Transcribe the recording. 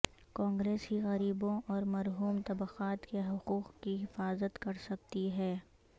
کانگریس ہی غریبوں اور محروم طبقات کے حقوق کی حفاظت کرسکتی ہے